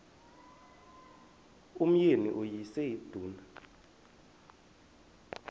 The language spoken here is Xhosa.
umyeni uyise iduna